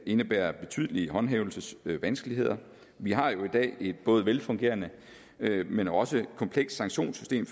indebærer betydelige håndhævelsesvanskeligheder vi har jo i dag et velfungerende men også komplekst sanktionssystem